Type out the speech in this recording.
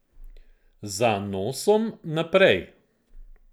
Za nosom naprej.